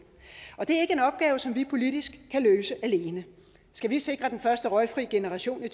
og det er ikke en opgave som vi politisk kan løse alene skal vi sikre den første røgfri generation i